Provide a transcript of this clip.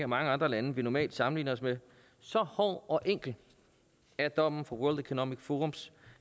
mange andre lande vi normalt sammenligner os med så hård og enkel er dommen fra world economic forums